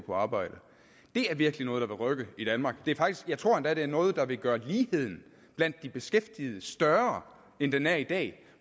på arbejde det er virkelig noget der vil rykke i danmark jeg tror endda at det er noget der vil gøre ligheden blandt de beskæftigede større end den er i dag